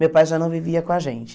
Meu pai já não vivia com a gente.